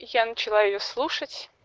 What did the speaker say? я начала её слушать